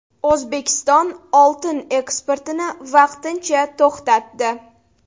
O‘zbekiston oltin eksportini vaqtincha to‘xtatdi.